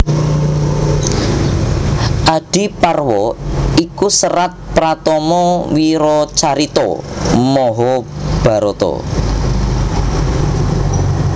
Adiparwa iku serat pratama wiracarita Mahabharata